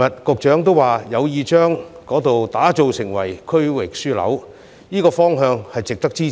局長昨天也表示有意將該區打造成區域樞紐，這方向值得支持。